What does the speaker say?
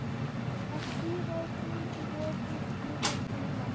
Að því rekur í öðru skrifi síðar.